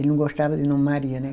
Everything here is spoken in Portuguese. Ele não gostava de nome Maria, né?